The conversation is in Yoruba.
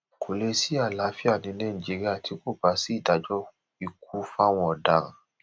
kò lè sí àlàáfíà ní nàìjíríà tí kò bá sí ìdájọ ikú fáwọn ọdaràn